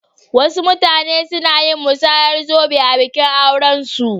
Wasu mutane suna musayar zobe a bikin aurensu.